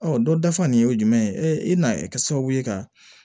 dɔ dafa nin ye jumɛn ye ee i n'a kɛ sababu ye ka